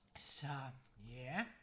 så ja